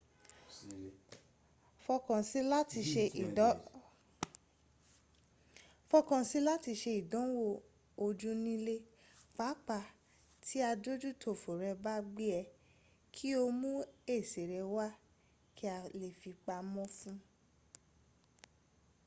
fọkàn sí i láti ṣe ìdánwò ojú ní ilé pàápàá tí adójútòfò rẹ bá gbé e kí o mú èsì rẹ wá kí a lè fi pamọ́ fún